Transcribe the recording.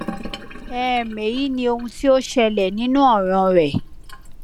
um eyi ni ohun ti o ti ṣẹlẹ ninu ọran rẹ